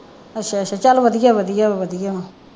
ਅੱਛਾ ਅੱਛਾ ਚੱਲ ਵਧੀਆ ਵਧੀਆ ਵਧੀਆ ਹੈ।